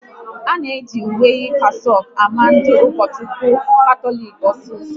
A na-eji uwe kasaouk ama ndị Ukochukwu Katọlik osiso